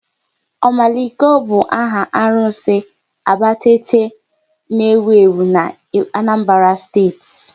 Omaliko bụ áhà arụsị Abatete n'ewu ewu na Anambra Steeti